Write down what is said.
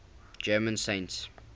german saints